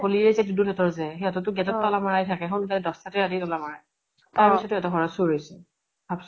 গলিৰে যে দুদুল হেতৰ যে সহঁতৰ টো gate ত তালা মাৰাই থাকে। দ্শ টাতে ৰাতি তলা মাৰে, তাৰ পিছতো সিহঁতৰ ঘৰত চুৰ হৈছে। ভাব্চোন।